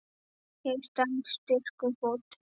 Ég stend styrkum fótum.